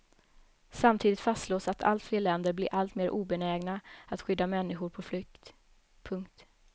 Samtidigt fastslås att allt fler länder blir alltmer obenägna att skydda människor på flykt. punkt